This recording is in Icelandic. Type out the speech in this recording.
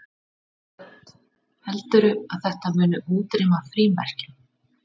Hödd: Heldurðu að þetta muni útrýma frímerkjum?